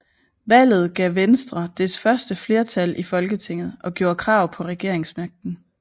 Valget gav Venstre dets første flertal i Folketinget og gjorde krav på regeringsmagten